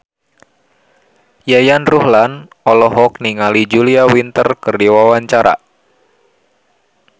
Yayan Ruhlan olohok ningali Julia Winter keur diwawancara